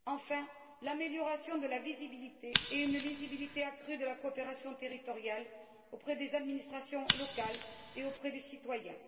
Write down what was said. Enfin, l'amélioration de la visibilité et une lisibilité accrue de la coopération territoriale auprès des administrations locales et auprès des citoyens.